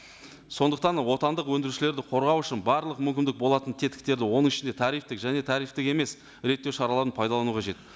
сондықтан отандық өндірушілерді қорғау үшін барлық мүмкіндік болатын тетіктерді оның ішінде тарифтік және тарифтік емес реттеу шараларын пайдалану қажет